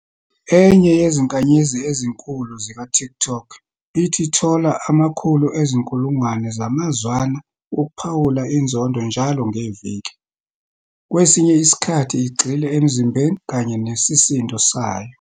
"Enye yezinkanyezi ezinkulu zikaTikTok ithi ithola amakhulu ezinkulungwane zamazwana wokuphawula inzondo njalo ngeviki, kwesinye isikhathi igxile emzimbeni kanye nesisindo sayo".